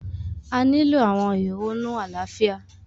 A nilo awọn ehonu alaafia